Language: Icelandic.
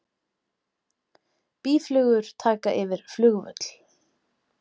Býflugur taka yfir flugvöll